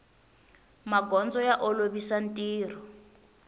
magondzo ya olovisa ntirho